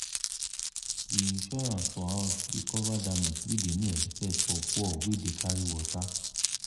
de insurance for house dey cover damage wey dey no expect for poor wey dey carry water.